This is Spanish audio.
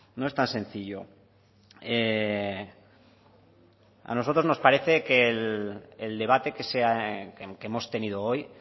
no están sencillo a nosotros nos parece que el debate que hemos tenido hoy